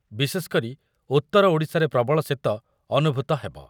ବିଶେଷକରି ଉତ୍ତର ଓଡ଼ିଶାରେ ପ୍ରବଳ ଶୀତ ଅନୁଭୂତ ହେବ ।